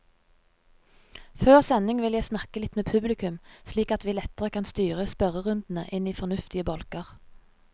Før sending vil jeg snakke litt med publikum, slik at vi lettere kan styre spørrerundene inn i fornuftige bolker.